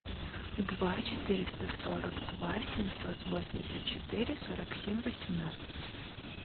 два четыреста сорок два семьсот восемьдесят четыре сорок семь восемнадцать